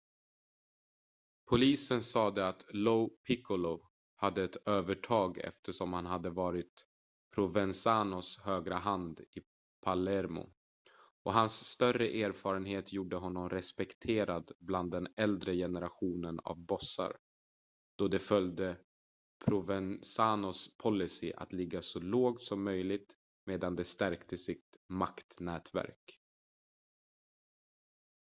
polisen sade att lo piccolo hade ett övertag eftersom han hade varit provenzanos högra hand i palermo och hans större erfarenhet gjorde honom respekterad bland den äldre generationen av bossar då de följde provenzanos policy att ligga så lågt som möjligt medan de stärkte sitt maktnätverk